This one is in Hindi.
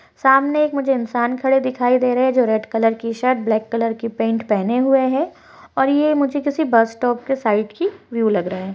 सामने एक मुझे इंसान खड़े दिखाई दे रहे है जो रेड कलर की शर्ट ब्लैक कलर की पेंट पहने हुए है और ये मुजे किसी बस स्टॉप के साइड की व्यू लग रहा है।